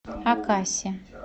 акаси